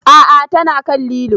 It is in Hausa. A'a ta na kan lilo